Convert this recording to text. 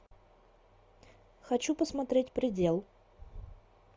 хочу посмотреть предел